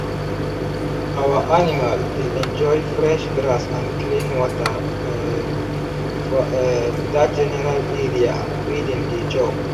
our animal dey enjoy fresh grass and clean water um for um that general area wey dem dey chop